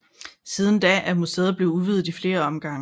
Siden da er museet blevet udvidet i flere omgange